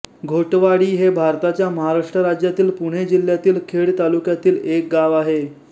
घोटवाडी हे भारताच्या महाराष्ट्र राज्यातील पुणे जिल्ह्यातील खेड तालुक्यातील एक गाव आहे